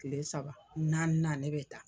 Kile saba naaninan ne bɛ taa.